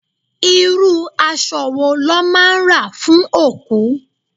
Irú aṣọ wo lọ́ máa ń rà fún òkú?